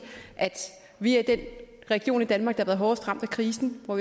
at vi er den region i danmark der har været hårdest ramt af krisen og